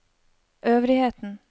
øvrigheten